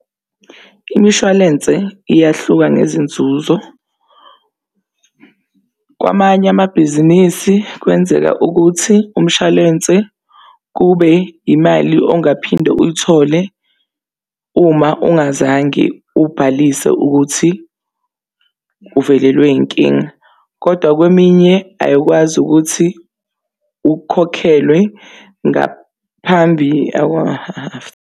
Imishwalense iyahluka ngezinzuzo . Kwamanye amabhizinisi kwenzeka ukuthi umshwalense kube imali ongaphinde uyithole. Uma ungazange ubhalise ukuthi uvelelwe yinkinga kodwa kweminye ayikwazi ukuthi ukhokhelwe ngaphambi .